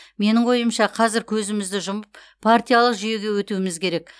менің ойымша қазір көзімізді жұмып партиялық жүйеге өтуіміз керек